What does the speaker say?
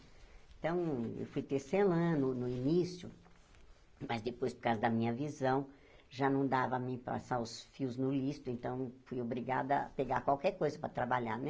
Então, eu fui ter no início, mas depois, por causa da minha visão, já não dava a mim passar os fios no listo, então fui obrigada a pegar qualquer coisa para trabalhar, né?